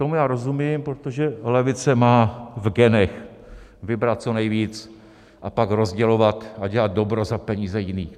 Tomu já rozumím, protože levice má v genech vybrat co nejvíc a pak rozdělovat a dělat dobro za peníze jiných.